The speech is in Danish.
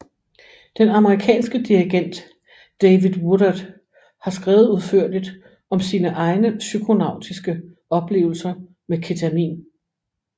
Den amerikanske dirigent David Woodard har skrevet udførligt om sine egne psykonautiske oplevelser med ketamin